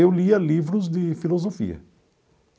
Eu lia livros de filosofia.